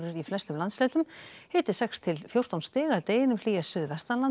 í flestum landshlutum hiti sex til fjórtán stig að deginum hlýjast suðvestanlands